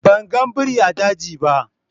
Ban gan birin a daji ba.